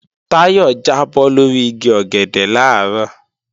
Táyọ̀ jábọ́ lórí igi ọ̀gẹ̀dẹ̀ làárọ̀